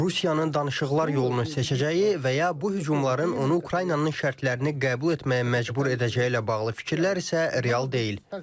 Rusiyanın danışıqlar yolunu seçəcəyi və ya bu hücumların onu Ukraynanın şərtlərini qəbul etməyə məcbur edəcəyi ilə bağlı fikirlər isə real deyil.